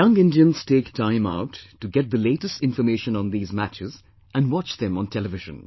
Young Indians take time out to get the latest information on these matches and watch them on television